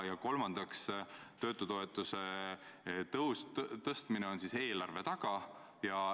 Ja kolmandaks, töötutoetuse tõus on siis eelarve taga.